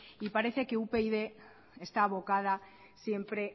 y parece que upyd está abocada siempre